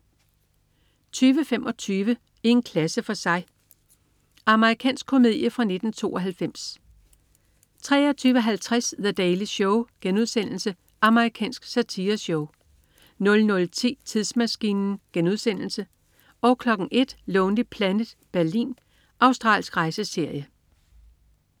20.25 I en klasse for sig. Amerikansk komedie fra 1992 23.50 The Daily Show* Amerikansk satireshow 00.10 Tidsmaskinen* 01.00 Lonely Planet: Berlin. Australsk rejseserie